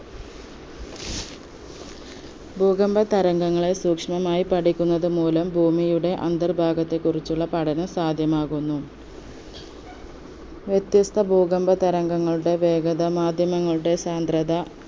ഭൂകമ്പ തരംഗങ്ങളെ സൂക്ഷ്മമായി പഠിക്കുന്നത് മൂലം ഭൂമിയുടെ അന്തർഭാഗത്തെ കുറിച്ചുള്ള പഠനം സാധ്യമാകുന്നു വ്യത്യസ്ത ഭൂകമ്പ തരംഗങ്ങളുടെ വേഗത മാധ്യമങ്ങളുടെ സാന്ദ്രത